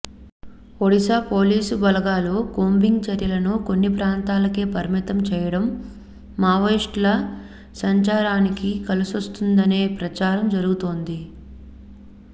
Odisha police బలగాలు combing చర్యలను కొన్ని ప్రాంతాలకే పరిమితం చేయడం మావోయిస్టుల సంచారానికి కలిసోస్తుందనే ప్రచారం జరుగుతోంది